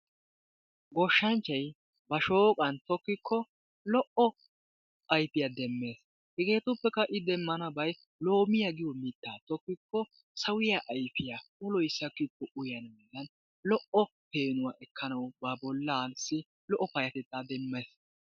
Goshshanchchay ba shooqan tokkiko lo"o ayfiya demmees. Hegetuppekka I demmanabay loomiya giyo mittaa tokkiko sawiya ayfiya uloy sakkikko uyyanaadan lo"o peenuwa ekkanawu ba bollaasi lo"o payyatetaa demmes.